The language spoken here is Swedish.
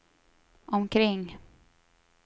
omkring